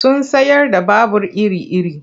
Suna sayar da babur iri-iri.